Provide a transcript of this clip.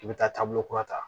I bɛ taa taabolo kura ta